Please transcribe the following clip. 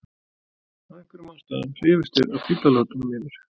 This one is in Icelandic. af einhverjum ástæðum hrifust þeir af fíflalátunum í mér.